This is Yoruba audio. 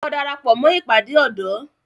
Lọ darapọ̀ mó ìpàdé ọ̀dọ́!